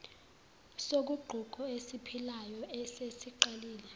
soguquko esiphilayo esesiqalile